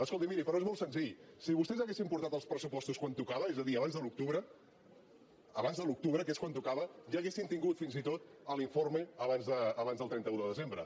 escolti miri però és molt senzill si vostès haguessin portat els pressupostos quan tocava és a dir abans de l’octubre abans de l’octubre que és quan tocava ja haurien tingut fins i tot l’informe abans del trenta un de desembre